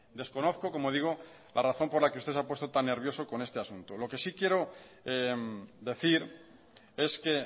desconozco como digo la razón por la que usted se ha puesto tan nervioso con este asunto lo que sí quiero decir es que